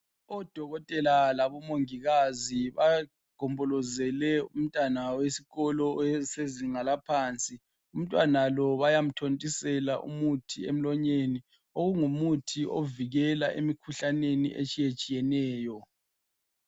Odokotela labomongikazi bagombolozele umntwana wesikolo sezinga laphansi. Umntwana lo bayamthontisela umuthi emlonyeni okungumuthi ovikela imikhuhlane etshiyeneyo.